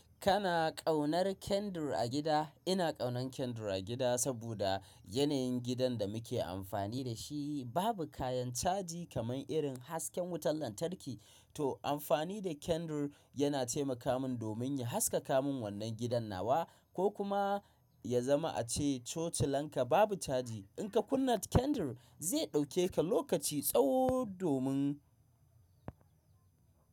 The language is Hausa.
Kana kaunar Kendir a gida? Ina kaunan Kendir a gida saboda yanayin gidan da muke amfani da shi babu kayan caji kamar irin hasken wutan lantarki. To, amfani da Kendir yana taimaka min domin ya haskaka min wannan gidan nawa ko kuma ya zama ace toci lanka babu caji. In ka kunna Kendir zai ɗauke ka lokaci tsawo domin.